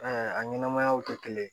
a ɲɛnɛmayaw tɛ kelen ye